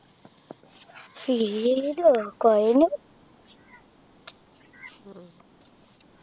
feel ഓ കുഴഞ്ഞു